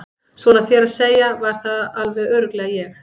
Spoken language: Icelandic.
Svona þér að segja var það alveg örugglega ég